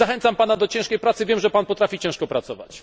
Zachęcam Pana do ciężkiej pracy, wiem, że Pan potrafi ciężko pracować.